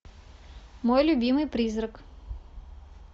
мой любимый призрак